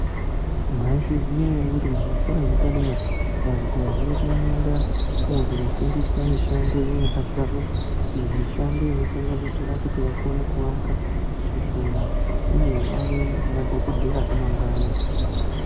Mwaizviziya ere kuti muzvikora zvepa dera vantu vazhinji vanoendamwo kunofundisa mishando yenyu yakadzama mimwe mishando inosanganisira kuti vakone kuaka kusona uye vave madhokodheya amangwani